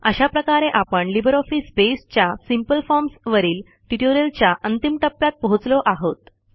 अशा प्रकारे आपण लिब्रिऑफिस बसे च्या सिंपल फॉर्म्स वरील ट्युटोरियलच्या अंतिम टप्प्यात पोहोचलो आहोत